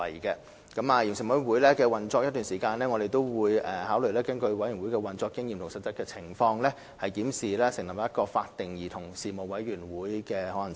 在委員會運作一段時間後，我們會考慮根據委員會的運作經驗及實際情況，檢視成立一個法定的委員會的可行性。